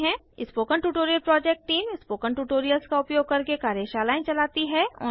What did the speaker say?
spoken tutorial project team spoken tutorials का उपयोग करके कार्यशालाएँ चलती है